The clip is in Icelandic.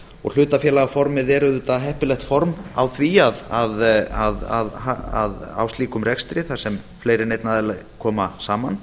og hlutafélagaformið er auðvitað heppilegt form á slíkum rekstri þar sem fleiri en einn aðili koma saman